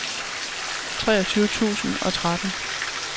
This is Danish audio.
treogtyve tusind og tretten